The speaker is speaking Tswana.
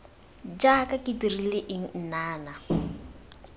jaana ke dirile eng nnana